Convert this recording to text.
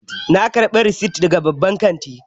Na ƙarbi rasit daga babban kanti